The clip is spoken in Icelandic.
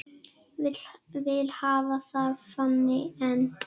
Vil hafa það þannig enn.